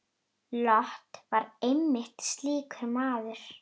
Lot var einmitt slíkur maður.